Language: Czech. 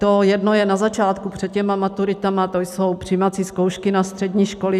To jedno je na začátku před těmi maturitami, to jsou přijímací zkoušky na střední školy.